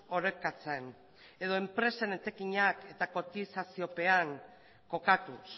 orekatzen edo enpresen etekinak eta kotizaziopean kokatuz